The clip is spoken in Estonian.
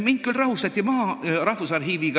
Mind küll rahustati maha.